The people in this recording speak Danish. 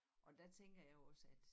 Og der tænker jeg jo også at